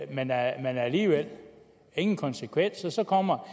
det men der er alligevel ingen konsekvenser så kommer